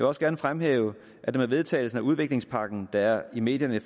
også gerne fremhæve at det med vedtagelsen af udviklingspakken der i medierne